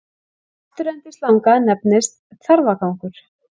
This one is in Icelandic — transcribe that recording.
Afturendi slanga nefnist þarfagangur.